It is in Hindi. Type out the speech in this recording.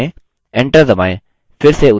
enter दबाएँ